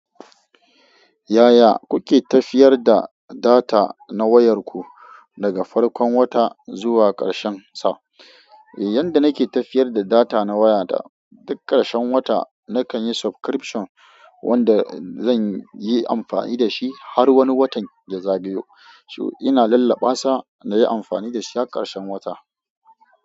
Yaya kuke tafiyar da data na wayar ku daga farkon wata zuwa ƙarshen sa? Eh, yanda nake tafiyar da data na waya da duk ƙarshen wata nakan yi subscription wanda zan yi amfani da shi har wani watan ya za gayo. Ina lallabasa na yi amfani da shi har ƙarshen wata.